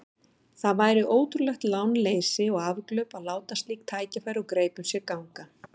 Það væri ótrúlegt lánleysi og afglöp að láta slík tækifæri úr greipum sér ganga.